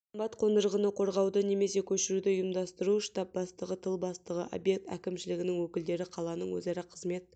қымбат қондырғыны қорғауды немесе көшіруді ұйымдастыру штаб бастығы тыл бастығы объект әкімшілігінің өкілдері қаланың өзара қызмет